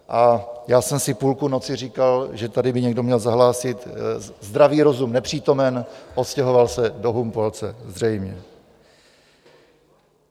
A já jsem si půlku noci říkal, že tady by někdo měl zahlásit: zdravý rozum nepřítomen, odstěhoval se do Humpolce, zřejmě.